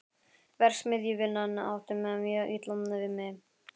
Verksmiðjuvinnan átti mjög illa við mig.